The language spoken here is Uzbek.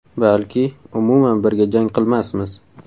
Balki, umuman birga jang qilmasmiz.